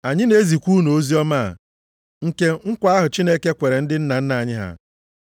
“Anyị na-ezikwa unu oziọma a, nke nkwa ahụ Chineke kwere ndị nna nna anyị ha.